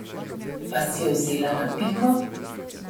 Vas je vzela na piko?